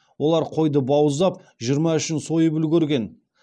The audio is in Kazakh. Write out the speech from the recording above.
олар қойды бауыздап жиырма үшін сойып үлгерген